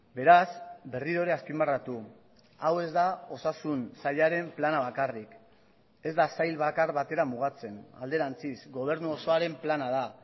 beraz berriro ere azpimarratu hau ez da osasun sailaren plana bakarrik ez da sail bakar batera mugatzen alderantziz gobernu osoaren plana da